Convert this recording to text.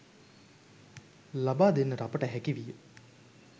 ලබාදෙන්නට අපට හැකිවිය.